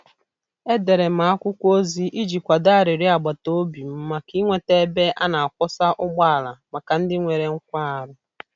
Edere m akwụkwọ ozi iji kwado arịrịọ agbata obi m maka inweta ebe a na-akwọsa ụgbọala maka ndị nwere nkwarụ.